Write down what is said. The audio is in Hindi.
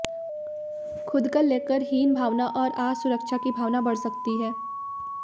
खुद को लेकर हीन भावना और असुरक्षा की भावना बढ़ सकती है